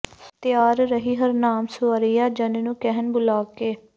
ਤਿਆਰ ਰਹੀ ਹਰਨਾਮ ਸੁਇਰੀਆਂ ਜੰਨ ਨੂੰ ਕਹਿਣ ਬੁਲਾ ਕੇ